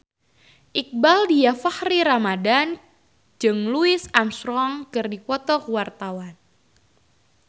Iqbaal Dhiafakhri Ramadhan jeung Louis Armstrong keur dipoto ku wartawan